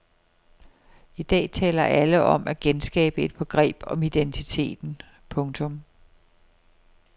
I dag taler alle om at genskabe et begreb om identiteten. punktum